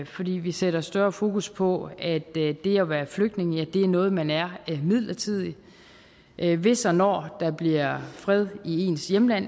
fordi vi sætter større fokus på at det at være flygtning er noget man er midlertidigt hvis og når der bliver fred i ens hjemland